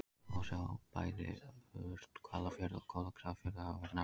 Þar má þó sjá að bæði Urthvalafjörður og Kolgrafafjörður hafa verið nefndir á nafn.